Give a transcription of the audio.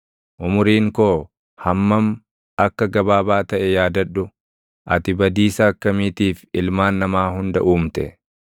Umuriin koo hammam akka gabaabaa taʼe yaadadhu. Ati badiisa akkamiitiif ilmaan namaa hunda uumte!